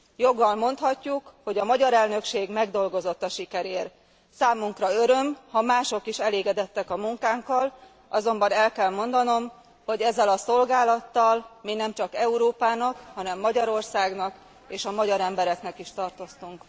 Joggal mondhatjuk, hogy a magyar elnökség megdolgozott a sikerért. Számunkra öröm, ha mások is elégedettek a munkánkkal, azonban el kell mondanom, hogy ezzel a szolgálattal mi nemcsak Európának, hanem Magyarországnak és a magyar embereknek is tartoztunk.